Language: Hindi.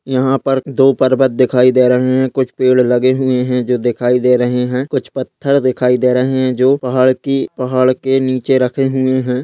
यहां पर दो पर्वत दिखाई देरन कुछ पेड़ लगे हुए है जो दिखाई दे रहे है कुछ पत्थर दिखाई दे रहे है जो पहाड़ की पहाड़ के नीचे रखे हुए है।